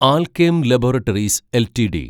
Alkem laboratories LTD